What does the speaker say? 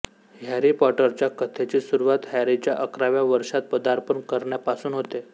Harry पॉटरच्या कथेची सुरुवात हॅरीच्या अकराव्या वर्षात पदार्पण करण्यापासून होते